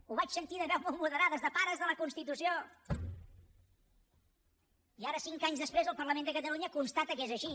ho vaig sentir de veus molt moderades de pares de la constitució i ara cinc anys després el parlament de catalunya constata que és així